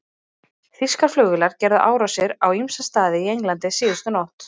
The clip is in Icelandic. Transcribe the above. Þýskar flugvélar gerðu árásir á ýmsa staði í Englandi síðustu nótt.